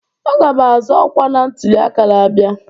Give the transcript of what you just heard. Aga'm azọ ọkwa na ntuli aka na-abịa